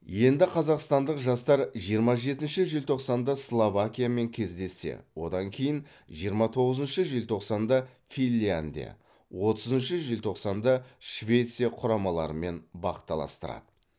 енді қазақстандық жастар жиырма жетінші желтоқсанда словакиямен кездессе одан кейін жиырма тоғызыншы желтоқсанда финляндия отызыншы желтоқсанда швеция құрамаларымен бақ таластырады